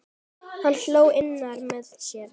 Hann hló innra með sér.